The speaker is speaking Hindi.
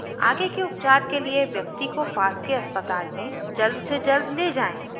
आगे के उपचार के लिए व्यक्ति को पास के अस्पताल में जल्द से जल्द ले जाएँ